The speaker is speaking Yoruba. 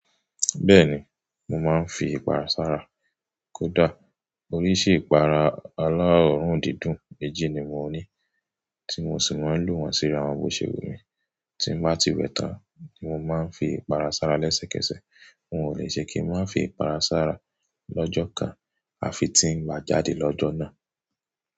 Bẹ́ẹ̀ni, mo máa ń fi ìpara sára. Kódà oríṣi ìpara alá orùn dídùn méjì ni mo ní, tí mo sì máa ń lò wọ́n síra àwọn bó ṣe wù mí. Tí n bá ti wẹ̀ tán ni mo máa ń fi ìpara sára lẹ́sẹ̀kẹsẹ̀. N ò le ṣe kí n má fi ìpara sára lọ́jọ́ kan àfi tí ń bá jáde lọ́jọ́ náà.